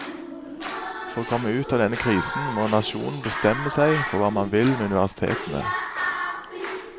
For å komme ut av denne krisen må nasjonen bestemme seg for hva man vil med universitetene.